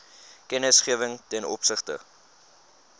kennisgewing ten opsigte